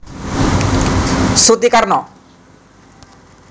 Suti Karno